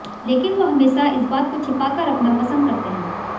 लेकिन वो हमेशा इस बात को छिपा कर रखना पसंद करते हैं